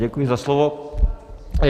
Děkuji za slovo.